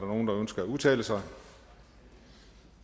nogen der ønsker at udtale sig